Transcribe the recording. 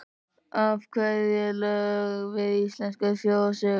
Af hverju lög við íslenskar þjóðsögur?